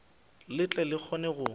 le tle le kgone go